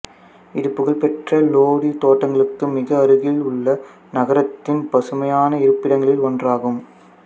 இது புகழ்பெற்ற லோதி தோட்டங்களுக்கு மிக அருகில் உள்ள நகரத்தின் பசுமையான இருப்பிடங்களில் ஒன்றாகும்